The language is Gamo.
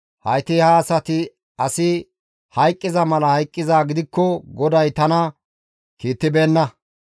Hayti ha asati asi hayqqiza mala hayqqizaa gidikko GODAY tana kiittibeenna.